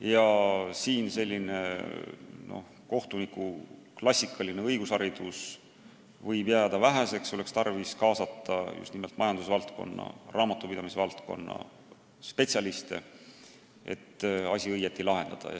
Ja siin võib klassikalisest kohtunike haridusest väheseks jääda, oleks tarvis kaasata just nimelt majandusvaldkonna, raamatupidamisvaldkonna spetsialiste, et asju õigesti lahendada.